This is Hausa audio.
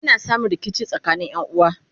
ana samun rikici tsakanin Ƴan uwa